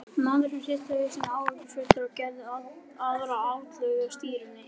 Maðurinn hristi hausinn áhyggjufullur og gerði aðra atlögu að stýrinu.